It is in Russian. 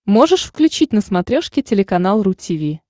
можешь включить на смотрешке телеканал ру ти ви